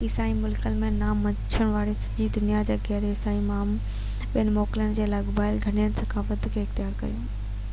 عيسائي ملڪن ۾ نہ مڃڻ وارن ۽ سڄي دنيا جي غير عيسائي ماڻهن پڻ موڪلن سان لاڳاپيل گهڻين ثقافتن کي اختيار ڪيو